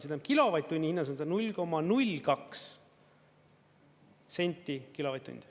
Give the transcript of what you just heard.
See tähendab, kilovatt-tunni hinnas on see 0,02 senti kilovatt-tund.